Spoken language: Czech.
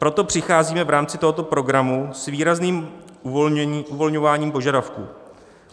Proto přicházíme v rámci tohoto programu s výrazným uvolňováním požadavků.